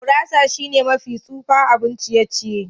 Gurasa shine mafi tsufa abun ciye-ciye.